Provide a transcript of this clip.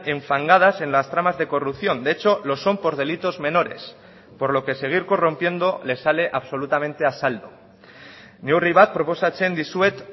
enfangadas en las tramas de corrupción de hecho lo son por delitos menores por lo que seguir corrompiendo les sale absolutamente a saldo neurri bat proposatzen dizuet